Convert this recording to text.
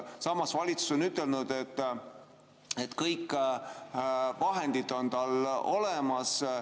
Samas, valitsus on ütelnud, et kõik vahendid on tal olemas.